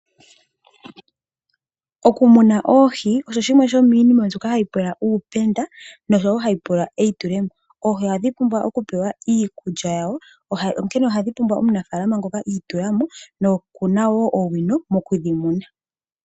Okumuna oohi oshimwe shomiinima mbyoka hayi pula uupenda noshowo hayi pula eitulemo. Oohi ohadhi pumbwa okupewa iikulya yadho onkene ohashi pula omunafaalama ngoka iitulamo nokuna wo owino mokudhimuna.